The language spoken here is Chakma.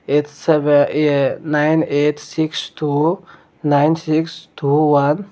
yet sebey ye nine eight six two nine six two one.